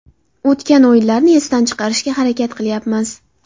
O‘tgan o‘yinlarni esdan chiqarishga harakat qilyapmiz.